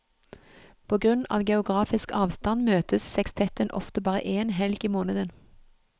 På grunn av geografisk avstand møtes sekstetten ofte bare én helg i måneden.